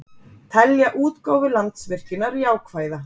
Telja útgáfu Landsvirkjunar jákvæða